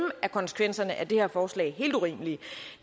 er konsekvenserne af det her forslag helt urimelige